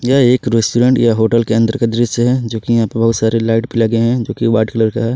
यह एक रेस्टोरेंट या होटल के अंदर का दृश्य है जो कि यहां पर बहुत सारे लाइट पर लगे हैं जो की वाइट कलर का है।